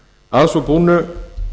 að svo búnu